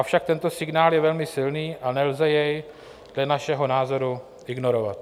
Avšak tento signál je velmi silný a nelze jej dle našeho názoru ignorovat.